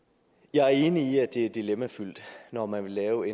jeg er enig i at det er dilemmafyldt når man vil lave